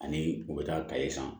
Ani u bɛ taa kaye san